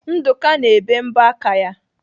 Nduka na-ebe mbọ aka ya.